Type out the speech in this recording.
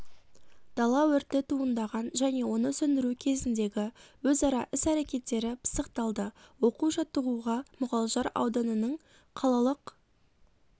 дала өрті туындаған және оны сөндіру кезіндегі өзара іс-әрекеттері пысықталды оқу жаттығуға мұғалжар ауданының қалалық